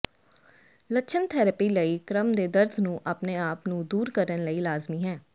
ਲੱਛਣ ਥੈਰੇਪੀ ਲਈ ਕ੍ਰਮ ਦੇ ਦਰਦ ਨੂੰ ਆਪਣੇ ਆਪ ਨੂੰ ਦੂਰ ਕਰਨ ਲਈ ਲਾਜ਼ਮੀ ਹੈ